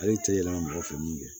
Ale tɛ yɛlɛma mɔgɔ fɛ min kɛ